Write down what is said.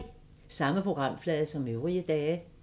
Samme programflade som øvrige dage